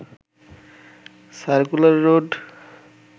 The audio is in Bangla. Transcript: circular road